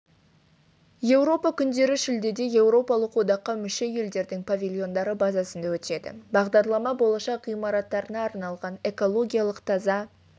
еуропа күндері шілдеде еуропалық одаққа мүше елдердің павильондары базасында өтеді бағдарлама болашақ ғимараттарына арналған экологиялық таза